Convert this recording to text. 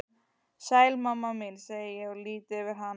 Sæl mamma mín, segi ég og lýt yfir hana.